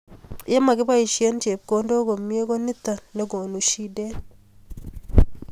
ye makibaishen chepkondok komie ko nito nekonu shidet